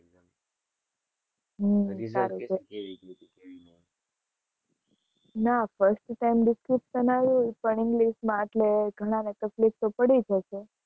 હમ ના, first sem description આવ્યું, પણ english માં, એટલે ઘણાને તફ્લીક તો પડી જ હશે.